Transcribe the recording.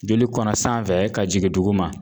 Joli kɔnɔ sanfɛ ka jigin duguma